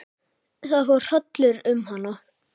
Það fór hrollur um hana.